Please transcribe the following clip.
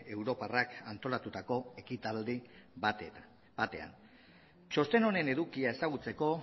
europarrak antolatutako ekitaldi batean txosten honen edukia ezagutzeko